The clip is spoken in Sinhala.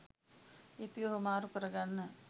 ලිපිය හුවමාරු කරගන්න.